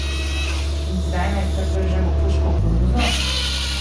In zdaj naj kar vržemo puško v koruzo?